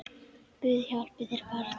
Guð hjálpi þér barn!